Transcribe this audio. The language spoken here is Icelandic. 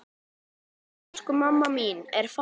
Elsku mamma mín er farin.